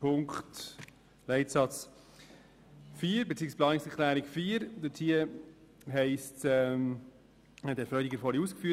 Zu Planungserklärung 4: Herr Freudiger hat diese vorhin ausgeführt;